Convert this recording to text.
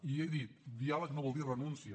i he dit diàleg no vol dir renúncia